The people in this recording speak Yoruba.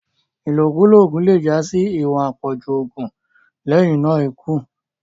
ilokulo oògùn le já sí iwọn apọju oògùn lẹhinna ikú